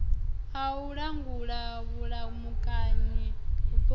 a u langula vhulamukanyi vhuponi